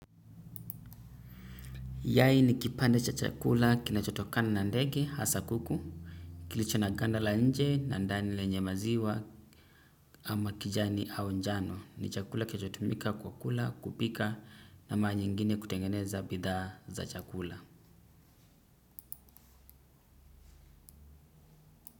Yai ni kipande cha chakula kinachotokana na ndege hasa kuku, kilicho na ganda la nje na ndani lenye maziwa ama kijani au njano. Ni chakula kichotumika kwa kula kupika na mara nyingine kutengeneza bidhaa za chakula.